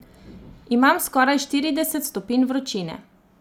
Imam skoraj štirideset stopinj vročine!